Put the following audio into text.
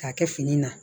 K'a kɛ fini na